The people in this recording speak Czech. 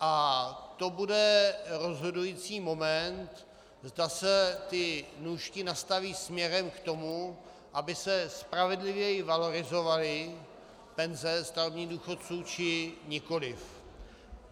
A to bude rozhodující moment, zda se ty nůžky nastaví směrem k tomu, aby se spravedlivěji valorizovaly penze starobních důchodců, či nikoliv.